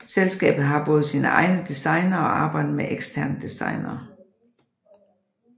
Selskabet har både sine egne designere og arbejder med eksterne designere